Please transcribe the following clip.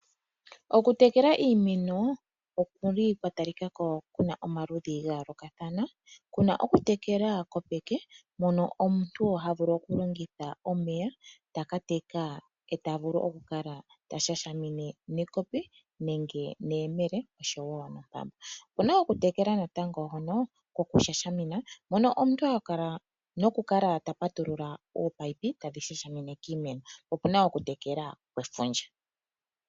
Okutekela iimeno okuli kwatalikako kuna omaludhi ga yoolokathana. Kuna okutekela kopeke mono omuntu ha vulu okulongitha omeya, taka teka e ta vulu okulala ta shashamine nekopi nenge neyemele oshowo nompanda. Opuna okutekela natango hono kokushashamina, mono omuntu ha kala ta patulula ominino tadhi shashamine kiimeno. Opuna wo okutekela kwefundja.